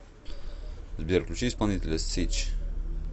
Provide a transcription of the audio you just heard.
сбер включи исполнителя сич